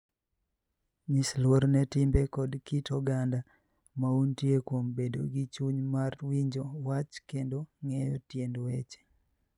Nyis luor ne timbe koda kit oganda ma untie kuom bedo gi chuny mar winjo wach kendo ng'eyo tiend weche.